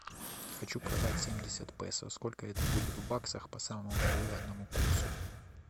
хочу продать семьдесят песо сколько это будет в баксах по самому выгодному курсу